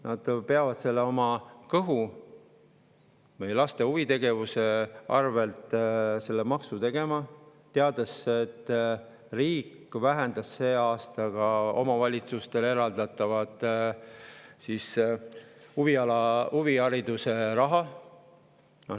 Nad peavad oma kõhu või laste huvitegevuse arvelt seda maksu, teades, et riik vähendas sel aastal ka omavalitsustele eraldatavat huvihariduse raha.